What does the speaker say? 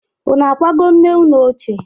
Unu akwago nne unu ochie?